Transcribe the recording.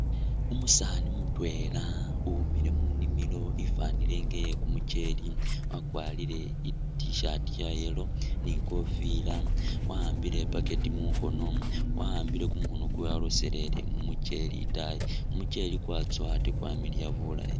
Umusaani mutwela uwimile munimilo ifanile nga iye kumucheli wakwarile I't-shirt iya yellow ni kofila wa'ambile a bucket mukhono, wa'ambile kumukhono kwewe waloselele mumucheli itaayi, kumucheli kwatsowa ate kwamiliya bulaayi